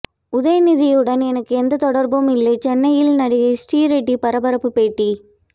உதயநிதியுடன் எனக்கு எந்த தொடர்பும் இல்லை சென்னையில் நடிகை ஸ்ரீரெட்டி பரபரப்பு பேட்டி